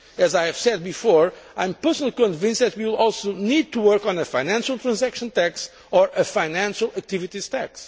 As I have said before, I am personally convinced that we will also need to work on a financial transaction tax or a financial activities tax.